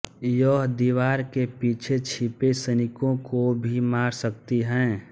यह दीवार के पीछे छिपे सैनिकों को भी मार सकती है